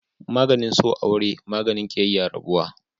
maganin so aure, maganin kiyayya rabuwa